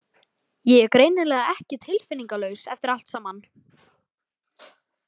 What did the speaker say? Ég er greinilega ekki tilfinningalaus eftir allt saman.